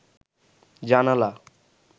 জানালা